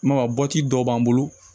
I m'a ye bɔti dɔ b'an bolo